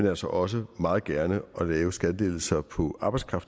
altså også meget gerne lave skattelettelser på arbejde